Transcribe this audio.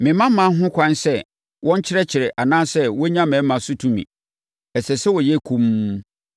Memma mmaa ho ɛkwan sɛ wɔnkyerɛkyerɛ anaasɛ wɔnnya mmarima so tumi. Ɛsɛ sɛ wɔyɛ komm.